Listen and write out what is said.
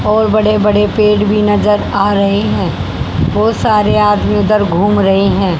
और बड़े बड़े पेड़ भी नजर आ रहे हैं बहोत सारे आदमी उधर घूम रहे हैं।